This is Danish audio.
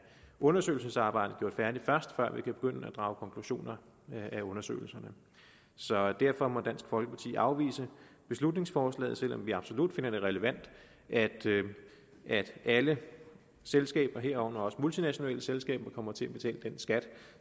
undersøgelsesarbejdet gjort færdigt før vi kan begynde at drage konklusioner af undersøgelserne så derfor må dansk folkeparti afvise beslutningsforslaget selv om vi absolut finder det relevant at alle selskaber herunder også multinationale selskaber kommer til at betale den skat